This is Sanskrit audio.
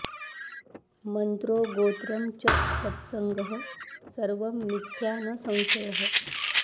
मन्त्रो गोत्रं च सत्सङ्गः सर्वं मिथ्या न संशयः